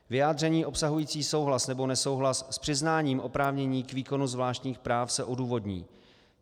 Vyjádření obsahující souhlas nebo nesouhlas s přiznáním oprávnění k výkonu zvláštních práv se odůvodní.